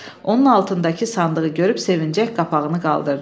Onun altındakı sandığı görüb sevincək qapağını qaldırdı.